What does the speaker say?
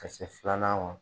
Ka se filanan ma